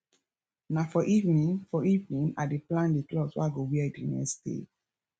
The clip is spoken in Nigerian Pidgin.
na for evening for evening i dey plan di cloth wey i go wear di next day